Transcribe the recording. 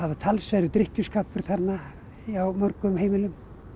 talsverður drykkjuskapur þarna á mörgum heimilum